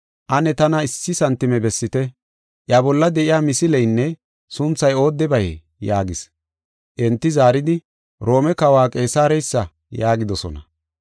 “Ane tana issi santime bessite, Iya bolla de7iya misileynne sunthay oodebayee?” yaagis. Enti zaaridi, “Roome Kawa Qeesareysa” yaagidosona.